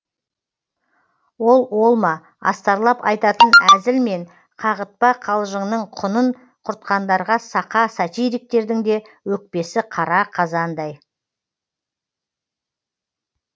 ол ол ма астарлап айтатын әзіл мен қағытпа қалжыңның құнын құртқандарға сақа сатириктердің де өкпесі қара қазандай